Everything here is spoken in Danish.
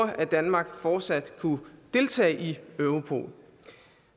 at danmark fortsat kan deltage i europol